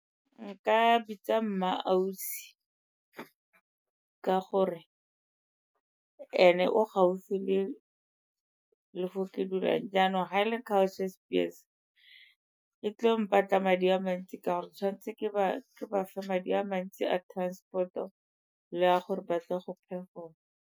Nka bitsa MmaAusi ka gore ene o gaufi le fo ke dulang, jaanong ga a le Culture Spears e tlo mpatla madi a mantsi ka gore tshwanetse ke ba fe madi a mantsi a transport-o le a gore batle go performer.